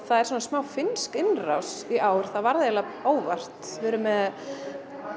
það er svona smá finnsk innrás í ár það varð eiginlega óvart við erum með